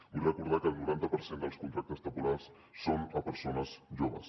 vull recordar que el noranta per cent dels contractes temporals són a persones joves